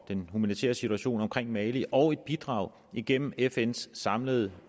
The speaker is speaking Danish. den humanitære situation omkring mali og et bidrag igennem fns samlede